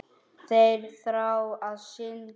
Þeir þrá að syndga.